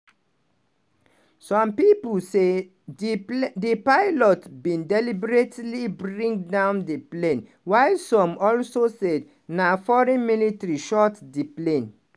some pipo say di pilot bin deliberately bring down di plane while some also say na foreign military shoot di plane.